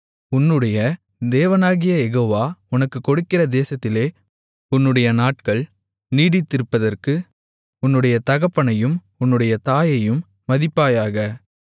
உன்னுடைய தேவனாகிய யெகோவா உனக்குக் கொடுக்கிற தேசத்திலே உன்னுடைய நாட்கள் நீடித்திருப்பதற்கு உன்னுடைய தகப்பனையும் உன்னுடைய தாயையும் மதிப்பாயாக